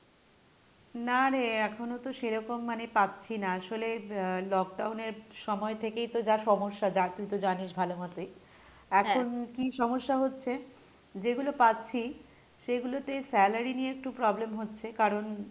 না রে এখনো তো সেরকম মানে পাচ্ছি না আসলে আহ lockdown এর সময় থেকেই তো যা সমস্যা যা তুই তো জানিস ভালো মতোই এখন কী সমস্যা হচ্ছে যেগুলো পাচ্ছি সেগুলোতে salary নিয়ে একটু problem হচ্ছে কারণ,